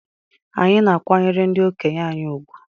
Anyị na-akwanyere ndị okenye anyị ùgwù.